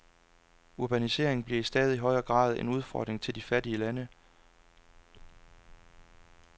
Urbaniseringen bliver i stadig højere grad en udfordring til de fattige lande.